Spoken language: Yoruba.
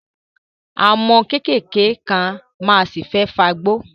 Àwọn ọmọ kéékèèké kan ma ṣì fẹ́ fagbó